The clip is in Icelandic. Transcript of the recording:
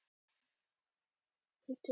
Þau jafnast á við tuttugu.